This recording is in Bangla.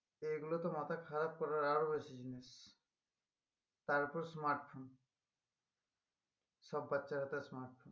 এই গুলো তো মাথা খারাপ করার আরো বেশি জিনিস তারপর smartphone সব বাচ্চারা তো smartphone